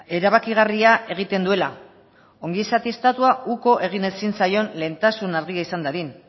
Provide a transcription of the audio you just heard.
erabakigarria egiten duela ongizate estatua uko egin ezin zaion lehentasun argia izan dadin